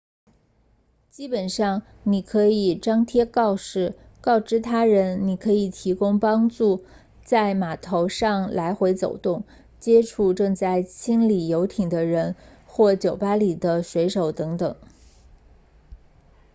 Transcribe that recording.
基本上你可以张贴告示告知他人你可以提供帮助在码头上来回走动接触正在清理游艇的人或酒吧里的水手等等